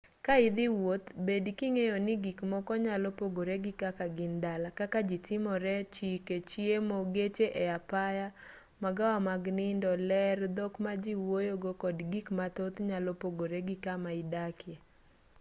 ka idhi wuoth bed king'eyo ni gik moko nyalo pogore gi kaka gin dala kaka ji timore chike chiemo geche e apaya magawa mag nindo ler dhok ma ji wuoyogo kod gik mathoth nyalo pogore gi kama idakie